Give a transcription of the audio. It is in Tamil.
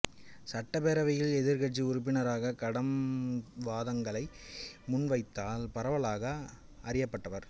சட்டப்பேரவையில் எதிர்கட்சி உறுப்பினராக கடும் வாதங்களை முன்வைத்ததால் பரவலாக அறியப்பட்டார்